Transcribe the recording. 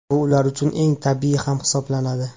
Bu ular uchun eng tabiiy ta’m hisoblanadi.